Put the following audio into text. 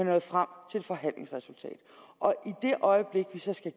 nået frem til et forhandlingsresultat i det øjeblik vi så skal